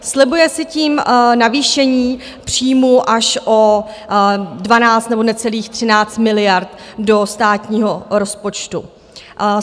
Slibuje si tím navýšení příjmů až o 12 nebo necelých 13 miliard do státního rozpočtu.